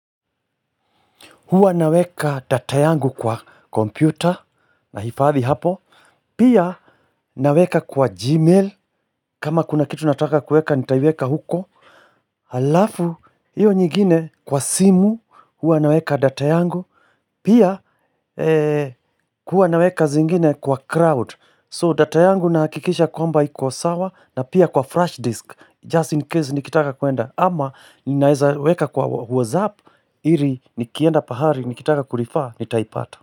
Huwa naweka data yangu kwa kompyuta nahifadhi hapo Pia naweka kwa gmail kama kuna kitu nataka kuweka nitaiweka huko Halafu hiyo nyingine kwa simu huwa naweka data yangu Pia kuwa naweka zingine kwa cloud so data yangu nahakikisha kwamba iko sawa na pia kwa flash disk just in case nikitaka kuenda ama ninaeza weka kwa WhatsApp ili nikienda pahali nikitaka kurefer nitaipata.